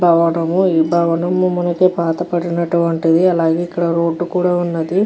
బావనము ఈ బావనము మనకు పాటబడిన వంటిది అలాగే ఇక్కడ రోడ్డు కూడా ఉన్నది.